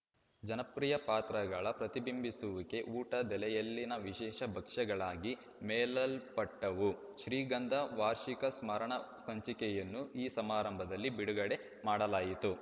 ಜನಪ್ರಿಯ ಪಾತ್ರಗಳ ಪ್ರತಿಬಿಂಬಿಸುವಿಕೆ ಊಟದೆಲೆಯಲ್ಲಿನ ವಿಶೇಷ ಭಕ್ಷ್ಯಗಳಾಗಿ ಮೆಲ್ಲಲ್ಪಟ್ಟವು ಶ್ರೀಗಂಧ ವಾರ್ಷಿಕ ಸ್ಮರಣಸಂಚಿಕೆಯನ್ನು ಈ ಸಮಾರಂಭದಲ್ಲಿ ಬಿಡುಗಡೆ ಮಾಡಲಾಯಿತು